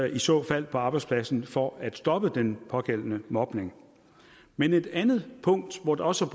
i så fald på arbejdspladsen for at stoppe den pågældende mobning men et andet punkt hvor der også